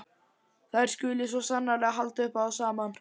Þær skuli sko sannarlega halda upp á það saman.